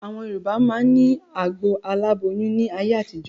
Àwọn Yorùbá máa ni agbo aláboyún ni ayé àtijọ́